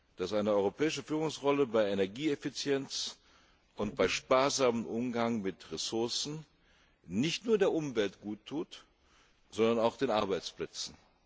dass eine europäische Führungsrolle bei Energieeffizienz und bei sparsamem Umgang mit Ressourcen nicht nur der Umwelt gut tut, sondern auch den Arbeitsplätzen.